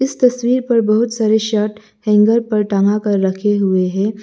इस तस्वीर पर बहुत सारे शर्ट हैंगर पर टंगा कर रखे हुए हैं।